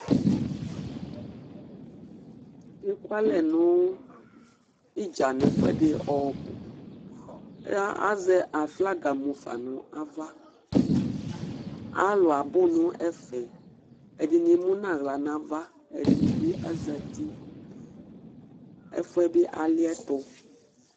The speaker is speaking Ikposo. Ɛkʋalɛ nʋ idza nʋ ɛfʋɛ di ɔbʋ Azɛ aflaga mʋ fa ava Alu abʋ nʋ ɛfɛ Ɛdiní emu nʋ aɣla nʋ ava Ɛdiní bi azɛti Ɛfʋɛ bi aliɛtu